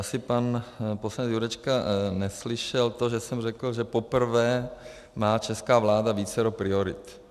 Asi pan poslanec Jurečka neslyšel to, že jsem řekl, že poprvé má česká vláda vícero priorit.